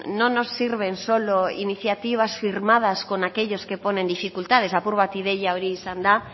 no nos sirven solo iniciativas firmadas con aquellos que ponen dificultades apur bat ideia hori izan da